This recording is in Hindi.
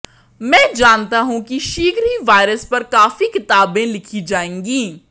मैं जानता हूं कि शीघ्र ही वायरस पर काफी किताबें लिखी जाएंगी